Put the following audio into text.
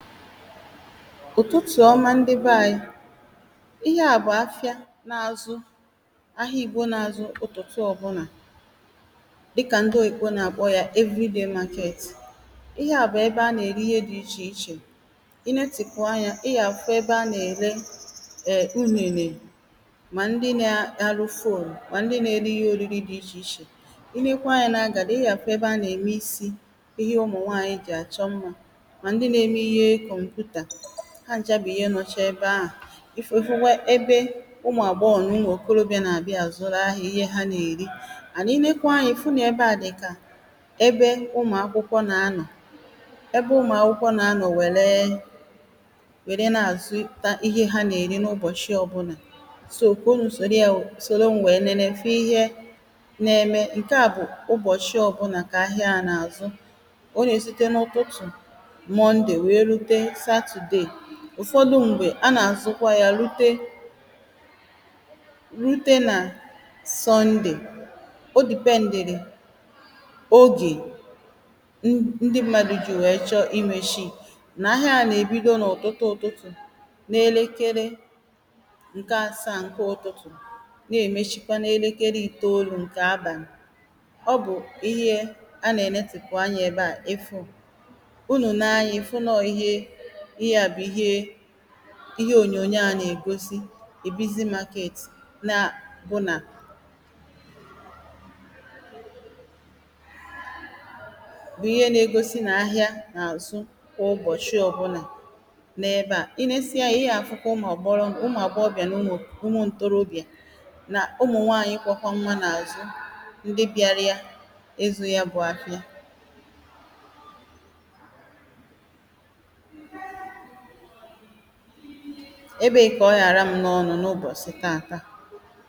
ụ̀tụtụ̀ ọma ndị be ȧnyị!̇ Ihe à bụ̀ afịa na-azụ, ahịa Igbo na-azụ ụ̀tụtụ ọ̀ bụlà, dịkà ndị Oyìbo nà-àkpọ ya everyday màket. Ihe à bụ̀ ebe a nà-ère ihe dị ichè ichè. ị netị̀pu, anyȧ ị gà-àfụ ebe a nà-ère eee unèlè, mà ndị nȧ-arụ [CD]fhonu, mà ndị nȧ-ere ihe òriri dị̇ ichè ichè. ị nekwà anyȧ nà-àgàdị, ị yȧ afụ ebe a nà-ème isi, ihe ụmụ̀ nwaanyị̀ jì àchọ mmȧ. Mà ndị nà-ème ìhe komputa. Ha ncha bu ihe nọcha ebe ahụ̀. Ị fu ifukwa ebe ụmụ̀ àgbọgho na ụmụ okorobiȧ na-abịa azụrụ ahịa, ihe ha na-èri. ànd inekwa ànyà, ịfụ na ebe a dị̀kà ebe ụmụ̀ akwụkwọ na anọ̀, ebe ụmụ̀ akwụkwọ na anọ̀ wère wère na-azụ ta ihe ha na-erì n’ụbọchị ọbụnà. So kà ụnụ sòrò ya, sòro m̀ wèe leele fụ ihe na-eme. Nkè a bụ̀ ụbọ̀chị ọbụnà kà ahịa na-àzụ. O ye site n'ụtụtụ Monde wèè rute Satode. ụ̀fọdụ m̀gbè a nà-azụkwa yȧ rute, rùtè nà Sọnde. O dị̀pendìrì ogè n n ndị mmadụ̀ jì chọ i mèshii. Nà ahịa a nà-èbido n’ụtụtụ ụtụtụ n’elekere ǹke asȧ à ǹke ụtụtụ̀ na-èmechikwa n’elekere ìtè olu̇ ǹkè àbàli. ọ bụ̀ ihe a nà-ènetìpụ̀ anya ebe à ịfụ. Ụnụ lee ànyà ịfụ nà ọ ìhe, ìhe a bụ ìhe, ìhe ònyònyo a nà-egosi a bizi market na bụ nà, bụ ihe nà-egosi nà-ahịa n’àzụ kwụọ ụbọ̀chị ọ̀ bụnà n’ebe à. Inė sịe yȧ, ihe à fụ kà ụmụ̀ agboro, ụmụ àgbọgho, na ụmụ ǹtọrọbịa., na ụmụ̀ nwaànyị n’ụmụ̀ ntorobịà nà ụmụ̀ nwaànyị kwụokọ nwa n’àzụ, ndị bịarịa ịzụ̇ ya bụ̇ afịa. Ebe ị kȧ ọ ghàra m n’ọnụ n’ụbọ̀sị tatȧ.